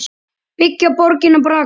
Byggja borgir bragga?